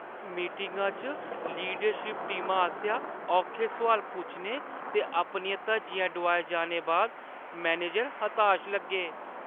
मीटिङा च लीडरशिप टीमा आसेआ औखे सुआल पुच्छने ते अपनियां धज्जियां डोआए जाने बाद मैनेजर हताश लग्गे।